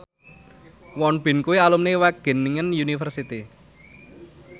Won Bin kuwi alumni Wageningen University